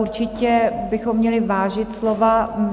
Určitě bychom měli vážit slova.